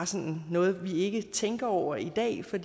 sådan noget vi ikke tænker over i dag for